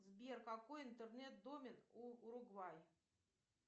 сбер какой интернет домен у уругвай